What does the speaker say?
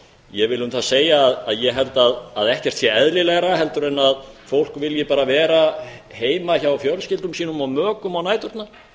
ég vil um það segja að ég held að ekkert sé eðlilegra en að fólk vilji bara vera heima hjá fjölskyldum sínum og mökum á næturnar